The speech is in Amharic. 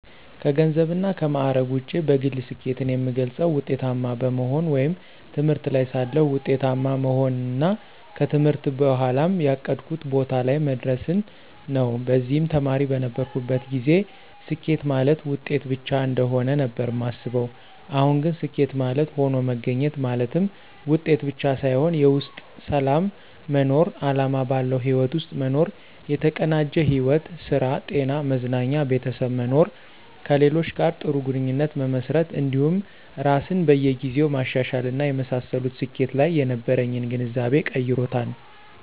ከገንዘብና ከማዕረግ ውጪ በግሌ ስኬትን የምገልፀው ውጤታማ በመሆን ወይም ትምህርት ላይ ሳለሁ ውጤታማ መሆንንና ከትምህርት በኋም ያቀድኩት ቦታ ላይ መድረስን ነው። በዚህም ተማሪ በነበርኩበት ጊዜ ስኬት ማለት ውጤት ብቻ እንደሆነ ነበር ማስበው አሁን ግን ስኬት ማለት ሆኖ መገኘት ማለትም ውጤት ብቻ ሳይሆን የውስጥ ሰላም መኖር፣ አላማ ባለው ህይወት ውስጥ መኖር፣ የተቀናጀ ሕይወት ( ስራ፣ ጤና፣ መዝናኛ፣ ቤተሰብ) መኖር፣ ከሌሎች ጋር ጥሩ ግንኙነት መመስረት እንዲሁም ራስን በየ ጊዜው ማሻሻል እና የመሳሰሉት ስኬት ላይ የነበረኝን ግንዛቤ ቀይሮታል።